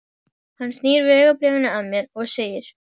Hann snýr vegabréfinu að mér og segir